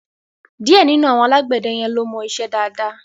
Díẹ̀ nínú àwọn alágbẹ̀dẹ yẹn ló mọ iṣẹ́ dáadáa.